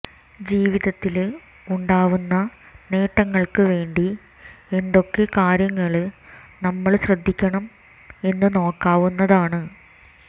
ജീവിതത്തില് ഉണ്ടാവുന്ന നേട്ടങ്ങള്ക്ക് വേണ്ടി എന്തൊക്കെ കാര്യങ്ങള് നമ്മള് ശ്രദ്ധിക്കണം എന്ന് നോക്കാവുന്നതാണ്